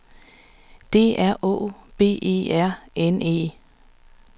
D R Å B E R N E